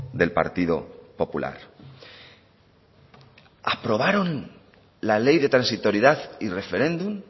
del partido popular aprobaron la ley de transitoriedad y referéndum